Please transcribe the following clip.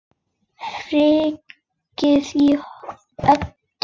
Öryggið á oddinn!